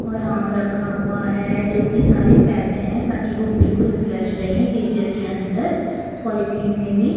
और आम रखा हुआ है जोकि सारे पैक्ड हैं ताकि वो बिल्कुल फ्रेश रहे फ्रीजर के अंदर पॉलिथीन में भी--